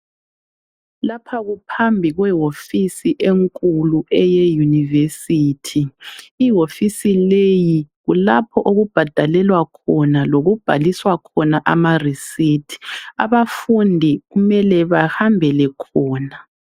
Lapha kuphambi kwewofisi enkulu eyeyunivesithi. Iwofisi leyi kulapho okubhadalelwa khona lokubhaliswa khona amareceipt abafundi kumele bahambele khona.